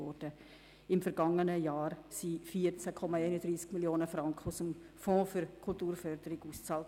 Im vergangenen Jahr wurden 14,31 Mio. Franken aus dem Fonds für Kulturförderung bezahlt.